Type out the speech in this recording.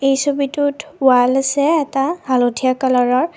এই ছবিটোত ৱাল আছে এটা হালধীয়া কালাৰৰ।